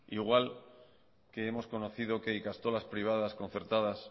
igual que hemos conocido que ikastolas privadas concertadas